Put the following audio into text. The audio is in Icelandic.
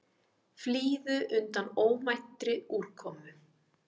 Flýðu undan óvæntri úrkomu